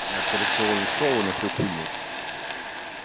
на операционный стол и на всю хуйню